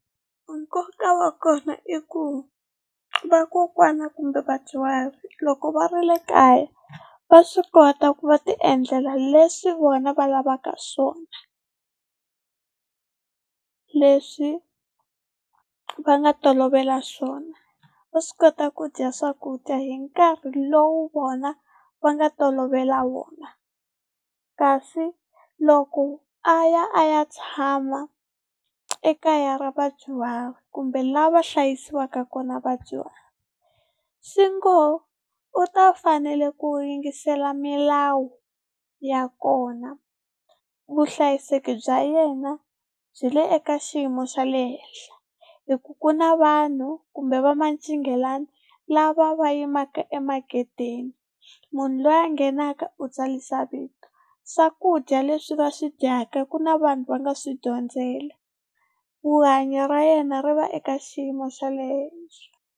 Nkoka wa kona i ku vakokwana kumbe vadyuhari loko va ri le kaya va swi kota ku va tiendlela leswi vona va lavaka swona, leswi va nga tolovela swona. Va swi kota ku dya swakudya hi nkarhi lowu vona va nga tolovela wona, kasi loko a ya a ya tshama ekaya ra vadyuhari kumbe la va hlayisiwaka kona vadyuhari swi ngo u ta fanele ku yingisela milawu ya kona vuhlayiseki bya yena byi le eka xiyimo xa le henhla, hi ku ku na vanhu kumbe va mancingelani lava va yimaka emagedeni munhu loyi a nghenaka u tsarisa vito. Swakudya leswi va swi dyaka ku na vanhu va nga swi dyondzela, rihanyo ra yena ri va eka xiyimo xa le henhla.